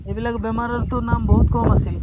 এইবিলাক বেমাৰৰতো নাম বহুত কম আছিল